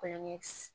Kɔɲɔ